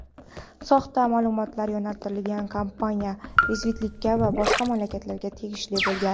soxta ma’lumotlar yo‘naltirilgan kompaniya rekvizitlari boshqa mamlakatga tegishli bo‘lgan.